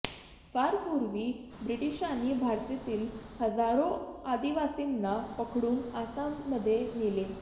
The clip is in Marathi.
फार पूर्वी ब्रिटिशांनी भारतातील हजारो आदिवासींना पकडून आसाममध्ये नेले